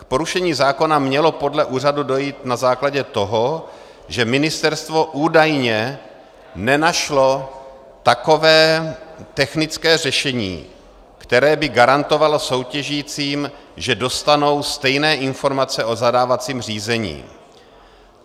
K porušení zákona mělo podle úřadu dojít na základě toho, že ministerstvo údajně nenašlo takové technické řešení, které by garantovalo soutěžícím, že dostanou stejné informace o zadávacím řízení.